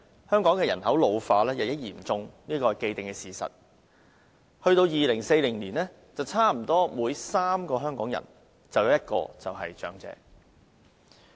香港人口老化日益嚴重是既定事實，到2040年，差不多每3個香港人便有1個是長者。